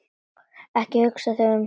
Ekki hugsa þig um.